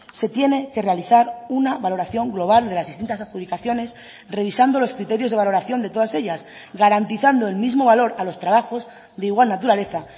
se tiene que realizar una valoración global de las distintas adjudicaciones revisando los criterios de valoración de todas ellas garantizando el mismo valor a los trabajos de igual naturaleza